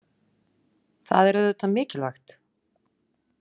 Það er auðvitað mikilvægt.